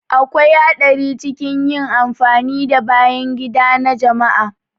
Akwai haɗari cikin yin amfani da bayan gida na jama'a.